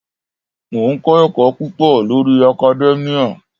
Mò ń kọ́ ẹ̀kọ́ púpọ̀ lórí academia.